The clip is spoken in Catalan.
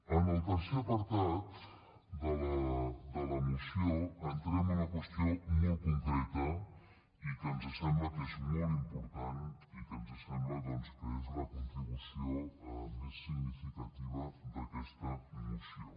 en el tercer apartat de la moció entrem a una qüestió molt concreta i que ens sembla que és molt important i que ens sembla doncs que és la contribució més significativa d’aquesta moció